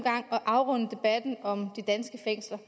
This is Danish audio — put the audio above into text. gang at afrunde debatten om de danske fængsler